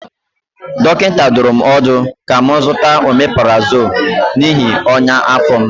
Dọkịta dụrụ m ọdụ ka m zụta ọmeprazọlụ n'ihi ọnya afọ m.